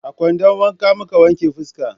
a kwandon wanka muke wanke fuska.